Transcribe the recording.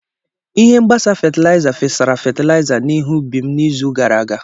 Ihe mgbasa fatịlaịza fesara fatịlaịza na ihe ubi m n'izu gara aga.